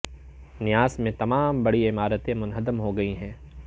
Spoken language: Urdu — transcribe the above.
نیاس میں تمام بڑی عمارتیں منہدم ہو گئی ہیں